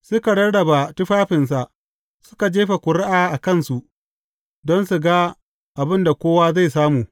Suka rarraba tufafinsa, suka jefa ƙuri’a a kansu don su ga abin da kowa zai samu.